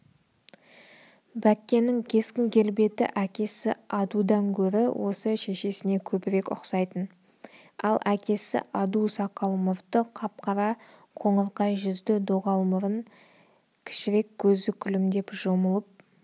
бәккенің кескін-келбеті әкесі адудан гөрі осы шешесіне көбірек ұқсайтын ал әкесі аду сақал-мұрты қап-қара қоңырқай жүзді доғал мұрын кішірек көзі күлімдеп жұмылып